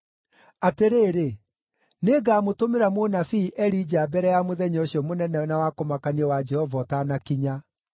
“Atĩrĩrĩ, nĩngamũtũmĩra mũnabii Elija mbere ya mũthenya ũcio mũnene na wa kũmakania wa Jehova ũtanakinya.